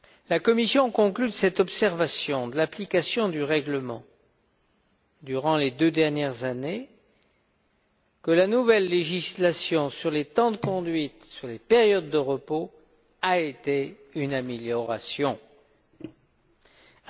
La Commission conclut de cette observation de l'application du règlement que, durant les deux dernières années, la nouvelle législation sur les temps de conduite, sur les périodes de repos, a été une réussite.